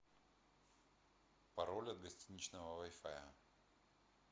пароль от гостиничного вай фая